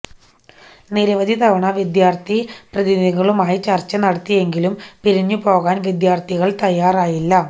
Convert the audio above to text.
നിരവധി തവണ വിദ്യാര്ഥി പ്രതിനിധികളുമായി ചര്ച്ച നടത്തിയെങ്കിലും പിരിഞ്ഞു പോകാന് വിദ്യാര്ഥികള് തയാറായില്ല